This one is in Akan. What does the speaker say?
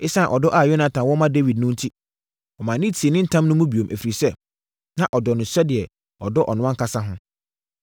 Esiane ɔdɔ a Yonatan wɔ ma Dawid no enti, ɔmaa no tii ne ntam no mu bio, ɛfiri sɛ, na ɔdɔ no sɛdeɛ ɔdɔ ɔno ankasa ho.